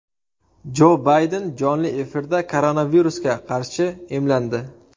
Jo Bayden jonli efirda koronavirusga qarshi emlandi .